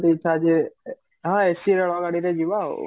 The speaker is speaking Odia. ଇଛା ଯେ ହଁ AC ରେଳ ଗାଡିରେ ଯିବା ଆଉ